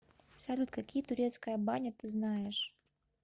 салют какие турецкая баня ты знаешь